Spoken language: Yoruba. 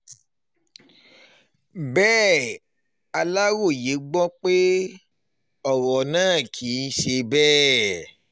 bẹ́ẹ̀ aláròye gbọ́ pé um ọ̀rọ̀ náà kì í ṣe bẹ́ẹ̀